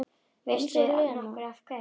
Veistu nokkuð af hverju?